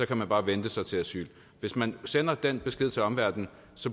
kan man bare vente sig til asyl hvis man sender den besked til omverdenen